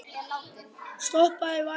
Stoppið var vika.